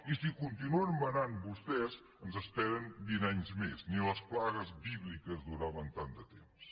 i si continuen manant vostès ens esperen vint anys més ni les plagues bíbliques duraven tant de temps